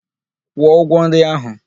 Kwụọ ụgwọ nri ahụ!